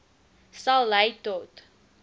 sal lei tot